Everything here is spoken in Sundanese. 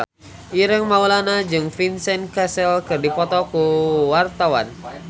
Ireng Maulana jeung Vincent Cassel keur dipoto ku wartawan